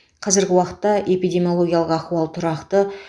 қазіргі уақытта эпидемиологиялық ахуал тұрақты